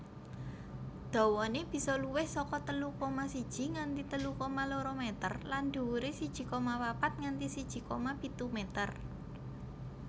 Dawané bisa luwih saka telu koma siji nganti telu koma loro meter lan dhuwuré siji koma papat nganti siji koma pitu meter